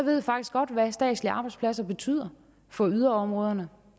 ved faktisk godt hvad statslige arbejdspladser betyder for yderområderne